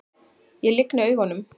Ég lygni augunum.